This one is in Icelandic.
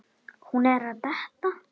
Hún er að detta.